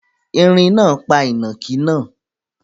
Ẹ̀rín náà pa ìnàkí náà